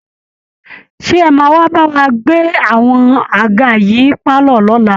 Ṣé ẹ máa wá bá wa gbé àwọn àga yìí pálọ̀ lọ́la